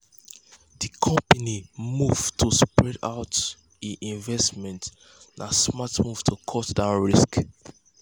di company move to spread out e investments na smart move to cut down risk.